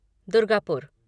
Durgapur